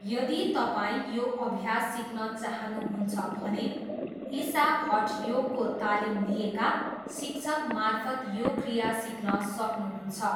यदि तपाईँ यो अभ्यास सिक्न चाहनुहुन्छ भने ईशा हठयोगको तालिम लिएका शिक्षकमार्फत यो क्रिया सिक्न सक्नुहुन्छ।